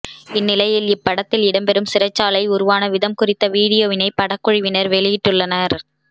இந்நிலையில் இப்படத்தில் இடம்பெரும் சிறைச்சாலை உருவான வீதம் குறித்த வீடியோவினை படக்குழுவினர் வெளியிட்டுள்ளனர்